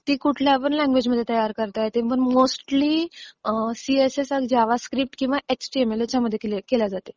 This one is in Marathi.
ती कुठल्या पण लँग्वेजमध्ये तयार करता येते; पण मोस्टली सी असते किंवा जावा स्क्रिप्ट किंवा एचटीएमएल यांच्यामध्ये तयार केली जातात.